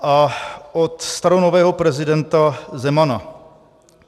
A od staronového prezidenta Zemana.